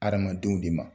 Hadamadenw de ma